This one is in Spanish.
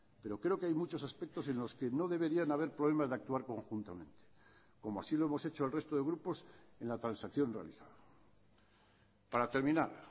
pero creo que hay muchos aspectos en los que no deberían haber problemas de actuar conjuntamente como así lo hemos hecho el resto de grupos en la transacción realizada para terminar